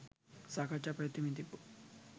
සාකච්ඡාව පැවැත්වෙමින් තිබු